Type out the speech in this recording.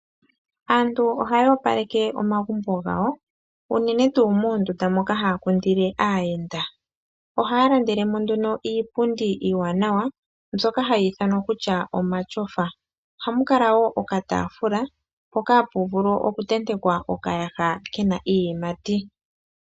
Aantu ohaya opaleke omagumbo gawo uunene tuu moondunda moka haya kundile aayenda oha ya landelemo nduno iipundi iiwanawa mbyoka hayi ithanwa ta kuti omashofa. Ohamu kala woo oka tafula hoka mpoka hapu vulu oku tentekwa okayaha kena iiyimati.